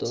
তো